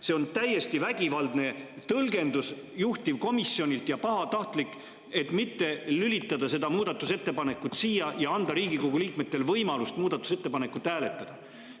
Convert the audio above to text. See on täiesti vägivaldne ja pahatahtlik tõlgendus juhtivkomisjonilt, et mitte lülitada seda muudatusettepanekut siia ja anda Riigikogu liikmetele võimalust muudatusettepaneku üle hääletada.